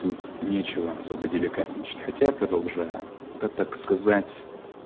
тут ничего особо деликатничать хотя я продолжаю это так сказать